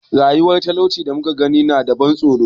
Rayuwar talaucin da muka gani tana da ban tsoro.